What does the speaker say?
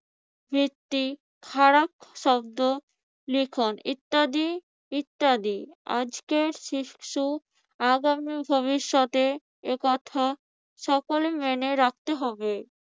একটি খারাপ শব্দ লিখন ইত্যাদি ইত্যাদি। আজকের শিশু আগামীর ভবিষ্যতে এই কথা সকলের মেনে রাখতে হবে।